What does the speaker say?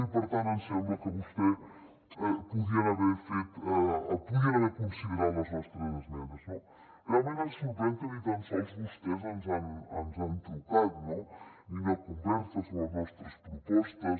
i per tant ens sembla que vostès podrien haver considerat les nostres esmenes no realment ens sorprèn que ni tan sols vostès ens han trucat no ni una conversa sobre les nostres propostes